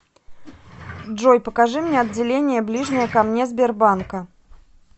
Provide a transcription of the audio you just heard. джой покажи мне отделение ближнее ко мне сбербанка